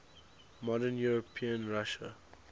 modern european russia